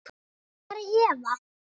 Hvar er Eva?